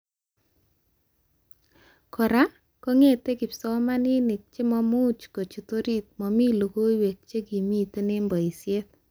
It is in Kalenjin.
Kora, kongetee kipsomanink chemamuch kochut orit, mamii logoiwek chekimite en boishet